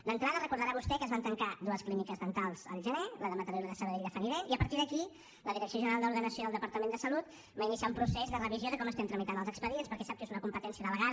d’entrada deu recordar vostè que es van tancar dues clíniques dentals al gener la de mataró i la de sabadell de funnydent i a partir d’aquí la direcció general d’ordenació del departament de salut va iniciar un procés de revisió de com tramitem els expedients perquè sap que és una competència delegada